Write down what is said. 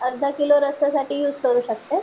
अर्धा किलो रस्स्यासाठी युज करू शकते.